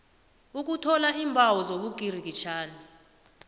ukuthola iimbawo zobukirikitjani